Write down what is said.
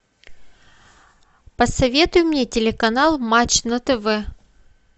посоветуй мне телеканал матч на тв